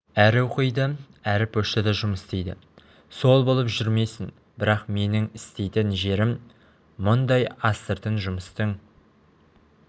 әрі оқиды әрі поштада жұмыс істейді сол болып жүрмесін бірақ менің істейтін жерім мұндай астыртын жұмыстың